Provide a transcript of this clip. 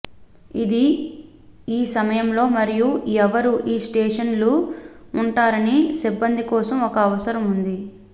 ఇది ఈ సమయంలో మరియు ఎవరు ఈ స్టేషన్లు ఉంటారనే సిబ్బంది కోసం ఒక అవసరం ఉంది